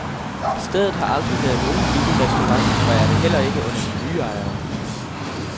Stedet har aldrig været nogen billig restaurant og er det heller ikke under de nye ejere.